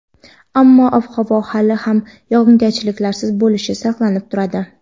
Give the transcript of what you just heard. ammo ob-havo hali ham yog‘ingarchiliksiz bo‘lishi saqlanib turadi.